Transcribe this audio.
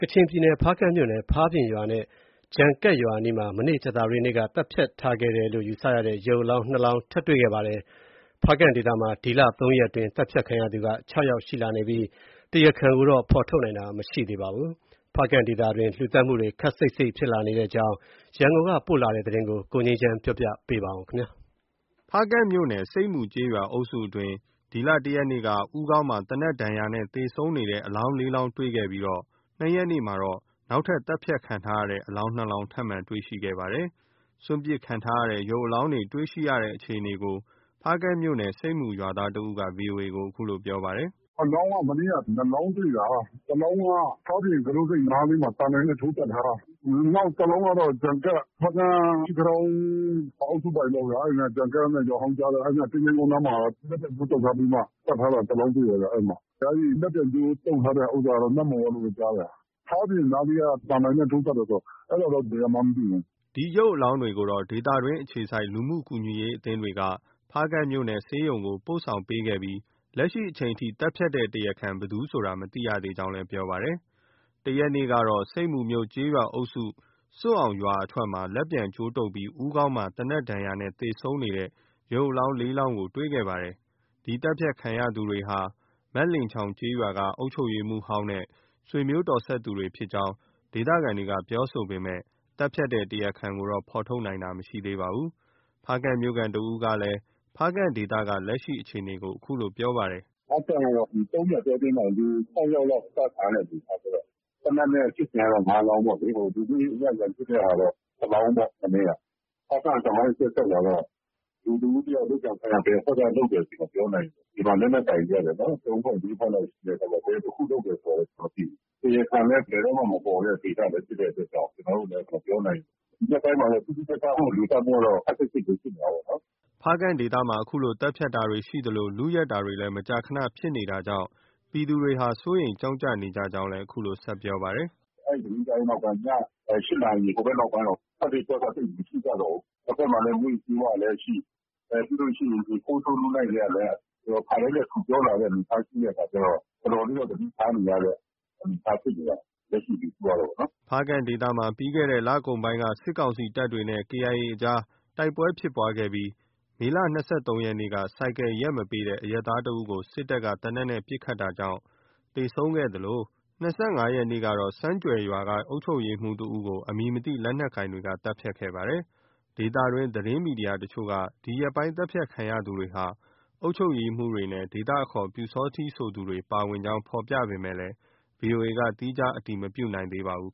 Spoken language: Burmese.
ချင်ပြည်နယ် ဖားကန့်မြို့နယ် ဖားပြင်ရွာနဲ့ ဂျန်ကပ်ရွာအနီးမှာ ကြာသပတေးနေ့က သတ်ဖြတ်ခံ ထားရတဲ့ ရုပ်အလောင်း ၂ လောင်း ထပ်မံတွေ့ရှိခဲ့ပါတယ်။ ဖားကန့်ဒေသမှာ ဒီလ ၃ ရက်အတွင်း သတ်ဖြတ်ခံရသူ ၆ ယောက်ရှိနေပြီး တရားခံကို ဖော်ထုတ်နိုင်တာ မရှိသေးပါဘူး။ ဖားကန့်ဒေသ အတွင်း လူသတ်မှုတွေ ခပ်စိပ်စိပ်ဖြစ်လာနေတဲ့အကြောင်း ရန်ကုန်က ပေးပို့လာတဲ့သတင်း ကိုငြိမ်းချမ်းက တင်ပြပေးထားပါတယ်။ ဖားကန့်မြို့နယ် ဆိပ်မူကျေးရွာအုပ်စုအတွင်းမှာ ဒီလ ၁ ရက်နေ့က ဦးခေါင်းမှာ သေနတ်ဒဏ်ရာနဲ့ သေဆုံးနေတဲ့ အလောင်း ၄ လောင်းတွေ့ရှိခဲ့ပြီး ၂ ရက်နေ့ကတော့ နောက်ထပ် သတ်ဖြတ်ခံထားရတဲ့ အလောင်း ၂ လောင်း ထပ်မံ တွေ့ရှိခဲ့တာပါ။ စွန့်ပစ်ထားတဲ့ ရုပ်အလောင်းတွေ တွေ့ရှိတဲ့အခြေအနေကို ဖားကန့်မြို့နယ် ဆိပ်မူရွာသားတဦးက VOA ကို အခုလို ပြောပါတယ်။ “အလောင်းက မနေ့က နှစ်လောင်း တွေ့တာ။ တလောင်းက ဖားပြင် ကူးတို့ဆိပ်နားလေးမှာ သံတိုင်နဲ့ ထိုးသတ်ထားတာ။ နောက် တလောင်းကတော့ ဂျန်ကပ်၊ ဖားကန့် မရှီကထောင်အုပ်စုအပိုင်ပေါ့ဗျာ။ အဲဒီနား ဂျန်ကပ်နဲ့ ရွာဟောင်းကြားထဲက သင်္ချိုင်းကုန်းနားလေးမှာ လက်ပြန်ကြိုးတုပ်ထားပြီးမှ သတ် ထားတာ တလောင်းတွေ့တယ်ဗျ။ အဲဒီလက်ပြန်ကြိုးတုပ်ထားတဲ့ဟာကတော့ နမ့်မှော်ကလို့ပဲ ကြားတယ်။ ဖားပြင်နားလေးက သံတိုင်နဲ့ထိုးသတ်တာကတော့ ဘယ်ကမှန်းမသိဘူး။” ဒီရုပ်အလောင်းတွေကိုတော့ ဒေသတွင်းအခြေစိုက် လူမှုကူညီရေးအသင်းတွေက ဖားကန့်မြို့နယ် ဆေးရုံကို ပို့ဆောင်ပေးခဲ့ပြီး လက်ရှိအချိန်ထိ သတ်ဖြတ်တဲ့တရားခံ ဘယ်သူဆိုတာ မသိရသေး ကြောင်းလည်း ပြောပါတယ်။ ဒီလ ၁ ရက်နေ့ကတော့ ဆိပ်မူကျေးရွာအုပ်စု ဆွတ်အောင်ရွာအထွက်မှာ လက်ပြန်ကြိုးတုပ်ပြီး ဦးခေါင်းမှာ သေနတ်ဒဏ်ရာနဲ့ သေဆုံးနေတဲ့ ရုပ်အလောင်း ၄ လောင်း တွေ့ခဲ့ပါတယ်။ ဒီသတ်ဖြတ်ခံရသူတွေဟာ မက်လင်ချောင်ကျေးရွာက အုပ်ချုပ်ရေးမှူးဟောင်းနဲ့ ဆွေမျိုးတော်စပ်သူ ဖြစ်ကြောင်းဒေသခံတွေက ပြောဆိုပေမဲ့ သတ်ဖြတ်တဲ့ တရားခံကိုတော့ ဖော်ထုတ်နိုင်တာ မရှိသေးပါဘူး။ ဖားကန့်မြို့ခံတဦးကလည်း ဖားကန့်ဒေသက လက်ရှိ အခြေအနေကို အခုလို ပြောပါတယ်။ “ဖားကန့်ကတော့ ဒီ ၃ ရက်အတောအတွင်းမှာတင် လူ ၆ ယောက်လောက် ပစ်သတ်ခံရတဲ့ အနေ အထားကျတော့။ သေနတ်နဲ့ပစ်သတ်ခံရတာ ၅ လောင်းပေါ့လေ။ လူမှုရေးအရ ရန်ဖြစ်တဲ့ဟာကတော့ တလောင်းပေါ့။ မနေ့က။ ဖားကန့်သမိုင်း အဆက်ဆက်မှာတော့ လူတဦးတယောက် လုပ်ကြံခံရတယ် ဆို ဘယ်အဖွဲ့က လုပ်တယ်ဆိုတာ မပြောနိုင်ဘူး။ ဒီမှာ လက်နက်ကိုင်တွေက ၃ ဖွဲ့၊ ၄ ဖွဲ့လောက် ရှိတယ်ဆိုတော့ ဘယ်တဖွဲ့လုပ်တယ်ဆိုတာ မသိဘူး။ တရားခံလည်း ဘယ်တော့မှ မပေါ်တဲ့ ဒေသဖြစ်တဲ့အတွက်ကြောင့် ကျနော်တို့လည်း မပြောနိုင်ဘူး။ ဒီရက်ပိုင်းမှာတော့ ထူးထူးခြားခြား လူသတ်မှုက ခပ်စိပ်စိပ်ဖြစ်နေတာပေါ့နော်။” ဖားကန့်ဒေသမှာ ဒီလို သတ်ဖြတ်တာတွေရှိသလို လုယက်တာတွေ လည်း မကြာခန ဖြစ်နေတာ ကြောင့် ပြည်သူတွေဟာ စိုးရိမ်ကြောင့်ကြနေကြကြောင်း အခုလို ဆက်ပြောပါတယ်။ “အဲဒီသတင်းကြားပြီးနောက် ည ၈ နာရီဟိုဘက်မှာ ထွက်လေ့ထွက်ထ သိပ်မရှိကြတော့ဘူး။ တဘက်မှာ မူးယစ်ဆေးဝါးကလည်းရှိ။ ပြီးလို့ရှိရင် ခိုးဆိုးလုနှိုက်တွေကလည်း ခါတိုင်းထက် ထူပြောလာတဲ့ အနေအထား ရှိတဲ့အခါကျတော့ တော်တော်လေးတော့ သတိထားနေရတဲ့ အနေအထားဖြစ်နေတာ။ လက်ရှိ လူထုကတော့နော်။” ဖားကန့်ဒေသမှာ ပြီးခဲ့တဲ့ လကုန်ပိုင်းက စစ်ကောင်စီတပ်နဲ့ KIA အကြား တိုက်ပွဲဖြစ်ပွားခဲ့ပြီး မေလ ၂၃ ရက်နေ့က ဆိုင်ကယ်ရပ်မပေးတဲ့ အရပ်သားတဦးကို စစ်တပ်က သေနတ်နဲ့ ပစ်ခတ်တာကြောင့် သေဆုံးခဲ့သလို ၂၅ ရက်နေ့ကတော့ ဆန်းကြွယ်ရွာက အုပ်ချုပ်ရေးမှူးတဦးကို အမည်မသိ လက်နက်ကိုင်တွေက သတ်ဖြတ်ခဲ့ပါတယ်။ ဒေသတွင်း သတင်းမီဒီယာတချို့က ဒီရက်ပိုင်းသတ်ဖြတ်ခံရသူတွေဟာ အုပ်ချုပ်ရေးမှူးတွေနဲ့ ဒေသအခေါ် ပျူစောထီးဆိုသူတွေ ပါဝင်ကြောင်း ဖော်ပြပေမဲ့ VOA က သီးခြား အတည်မပြုနိုင်သေး ပါဘူး